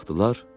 Baxdılar.